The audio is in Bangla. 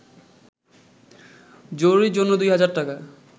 জরুরির জন্য দুই হাজার টাকা